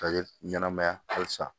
Ka ɲɛnɛmaya halisa